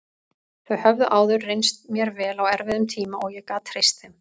Þau höfðu áður reynst mér vel á erfiðum tíma og ég gat treyst þeim.